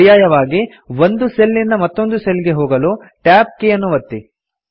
ಪರ್ಯಾಯವಾಗಿ ಒಂದು ಸೆಲ್ ನಿಂದ ಮತ್ತೊಂದು ಸೆಲ್ ಗೆ ಹೋಗಲು ಟ್ಯಾಬ್ ಕೀ ಯನ್ನು ಒತ್ತಿ